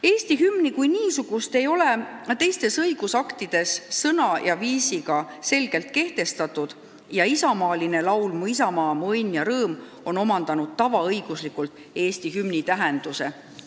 Eesti hümni kui niisugust, selle sõnu ja viisi ei ole teistes õigusaktides selgelt kehtestatud ja isamaaline laul "Mu isamaa, mu õnn ja rõõm" on tavaõiguslikult omandanud Eesti hümni tähenduse.